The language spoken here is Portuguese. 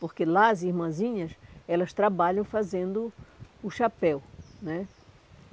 Porque lá as irmãzinhas, elas trabalham fazendo o chapéu, né?